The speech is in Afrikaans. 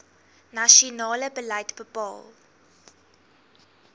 nasionale beleid bepaal